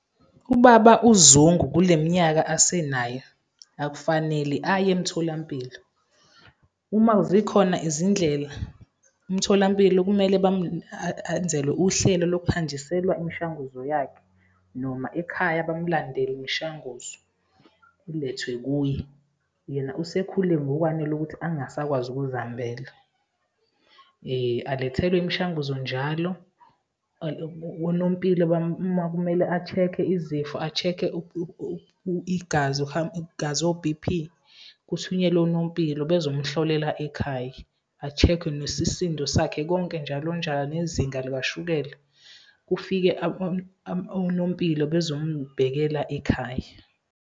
Ubaba uZungu, kule minyaka asenayo, akufanele aye emtholampilo. Uma zikhona izindlela, umtholampilo kumele enzelwe uhlelo lokuhanjiselwa imishanguzo yakhe, noma ekhaya bamulandele imishanguzo, ulethwe kuye. Yena usekhule ngokwanele ukuthi angasakwazi ukuzihambela. Alethelwe imishanguzo njalo, onompilo uma kumele a-check-e izifo, a-check-e igazi, igazi o-B_P, kuthunyelwe onompilo bezomhlolela ekhaya, a-check-we nesisindo sakhe konke njalonjalo, nezinga likashukela, kufike onompilo bezombhekela ekhaya.